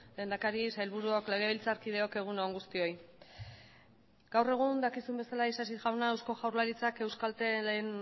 lehendakari sailburuok legebiltzarkideok egun on guztioi gaur egun dakizuen bezala isasi jauna eusko jaurlaritzak euskaltelen